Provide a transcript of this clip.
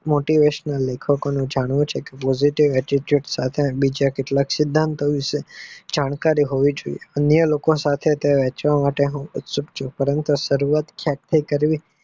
Motivation લેખકો નું આ જાણવું છે કે positivity attitude સાથે બીજા કેટલાક સિદ્ધાંત વિષે જાણકારી હોવી જોઈએ અને અન્ય લોકો સાથે વહેચવા માટે ઉત્સુક છે પરંતુ શરૂઆત ક્યાંથી કરવી?